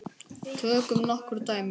Tökum nokkur dæmi.